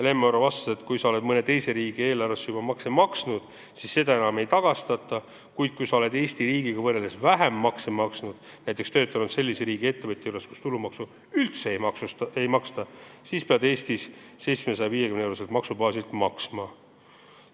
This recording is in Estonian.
Lemmi Oro vastas, et kui sa oled mõne teise riigi eelarvesse juba makse maksnud, siis seda enam ei tagastata, kuid kui sa oled Eesti riigiga võrreldes vähem makse maksnud – näiteks töötanud sellise riigi ettevõtja juures, kus tulumaksu üldse ei maksta –, siis sa pead Eestis 750-euroselt maksubaasilt makse maksma.